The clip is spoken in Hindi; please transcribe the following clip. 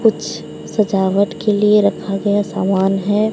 कुछ सजावट के लिए रखा गया सामान है।